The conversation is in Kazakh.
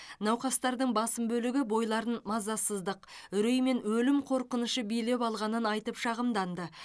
науқастардың басым бөлігі бойларын мазасыздық үрей мен өлім қорқынышы билеп алғанын айтып шағымданды